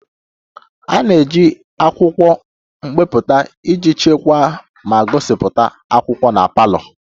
A na-eji akwụkwọ mpịakọta iji chekwaa ma gosipụta akwụkwọ na parlour